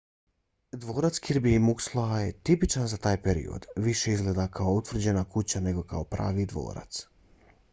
dvorac kirby muxloe tipičan za taj period više izgleda kao utvrđena kuća nego kao pravi dvorac